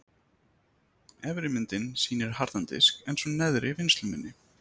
Efri myndin sýnir harðan disk en sú neðri vinnsluminni.